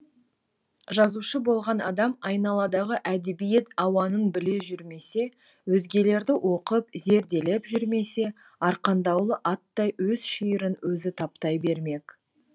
жазушы болған адам айналадағы әдебиет ауанын біле жүрмесе өзгелерді оқып зерделеп жүрмесе арқандаулы аттай өз шиырын өзі таптай бермек